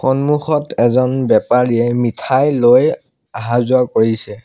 সন্মুখত এজন বেপাৰীয়ে মিঠাইলৈ আহা যোৱা কৰিছে।